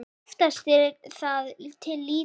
Oftast er það til lýta.